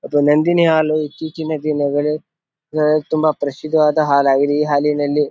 ಅದು ನಂದಿನಿ ಹಾಲು ಇತ್ತೀಚಿನ ದಿನಗಳಲ್ಲಿ ಅಹ್ ತುಂಬಾ ಪ್ರಸಿದ್ದವಾದ ಹಾಲಾಗಿದೆ. ಈ ಹಾಲಿನಲ್ಲಿ --